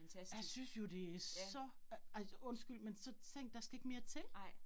Jeg synes jo det så, ej undskyld, men så tænkte der skal ikke mere til